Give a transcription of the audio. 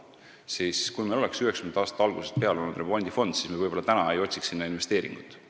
Kui meil oleks 1990. aastate algusest peale olnud olemas remondifond, siis me võib-olla täna ei otsiks investeeringuid.